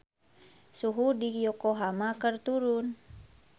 Suhu di Yokohama keur turun